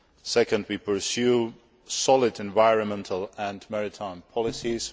Secondly, we pursue solid environmental and maritime policies.